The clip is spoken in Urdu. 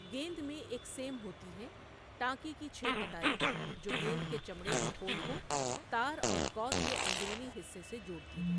گیند میں ایک سیم ہوتی ہے ٹانکے کی چھ قطاریں جو گیند کے چمڑے کے خول کو تار اور کارک کے اندرونی حصے سے جوڑتی ہیں۔